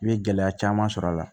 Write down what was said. I bɛ gɛlɛya caman sɔrɔ a la